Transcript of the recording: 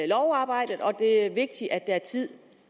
lovarbejdet og at det er vigtigt at der er tid